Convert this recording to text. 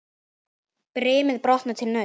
Brimið brotnar við naust.